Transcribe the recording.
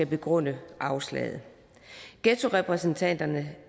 begrunde afslaget ghettorepræsentanterne